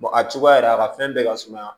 a cogoya yɛrɛ a ka fɛn bɛɛ ka suma